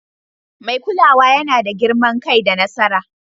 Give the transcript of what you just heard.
Mai kulawa yana da girman kai da nasara.